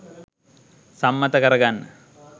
සම්මත කරගන්න